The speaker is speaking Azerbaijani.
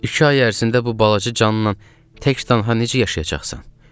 İki ay ərzində bu balaca cannan tək cana necə yaşayacaqsan?